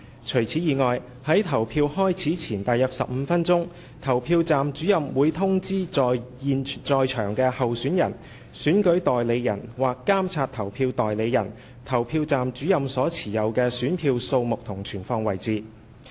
除此之外，在投票開始前約15分鐘，投票站主任會通知在場的候選人/選舉代理人/監察投票代理人，投票站主任所持有的選票的數目和存放位置。